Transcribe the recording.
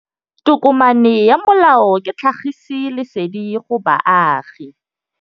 Tokomane ya molao ke tlhagisi lesedi go baagi.